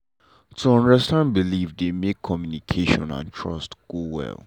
to understand person belief dey make communication and trust go well.